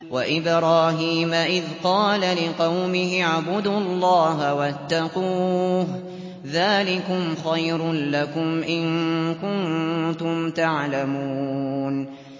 وَإِبْرَاهِيمَ إِذْ قَالَ لِقَوْمِهِ اعْبُدُوا اللَّهَ وَاتَّقُوهُ ۖ ذَٰلِكُمْ خَيْرٌ لَّكُمْ إِن كُنتُمْ تَعْلَمُونَ